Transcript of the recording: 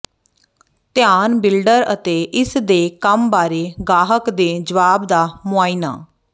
ਧਿਆਨ ਬਿਲਡਰ ਅਤੇ ਇਸ ਦੇ ਕੰਮ ਬਾਰੇ ਗਾਹਕ ਦੇ ਜਵਾਬ ਦਾ ਮੁਆਇਨਾ